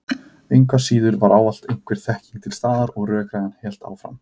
Engu að síður var ávallt einhver þekking til staðar og rökræðan hélt áfram.